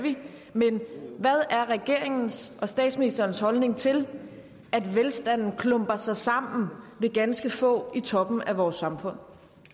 men hvad er regeringens og statsministerens holdning til at velstanden klumper sig sammen ved ganske få i toppen af vores samfund